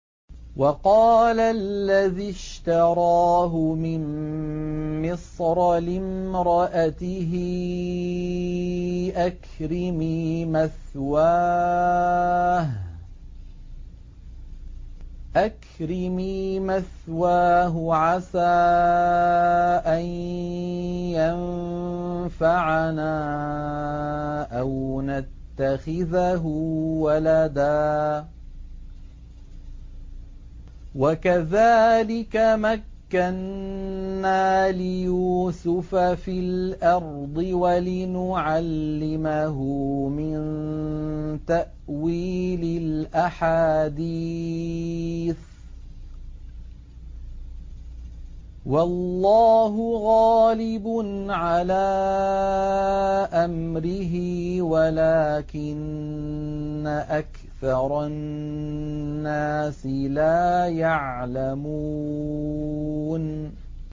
وَقَالَ الَّذِي اشْتَرَاهُ مِن مِّصْرَ لِامْرَأَتِهِ أَكْرِمِي مَثْوَاهُ عَسَىٰ أَن يَنفَعَنَا أَوْ نَتَّخِذَهُ وَلَدًا ۚ وَكَذَٰلِكَ مَكَّنَّا لِيُوسُفَ فِي الْأَرْضِ وَلِنُعَلِّمَهُ مِن تَأْوِيلِ الْأَحَادِيثِ ۚ وَاللَّهُ غَالِبٌ عَلَىٰ أَمْرِهِ وَلَٰكِنَّ أَكْثَرَ النَّاسِ لَا يَعْلَمُونَ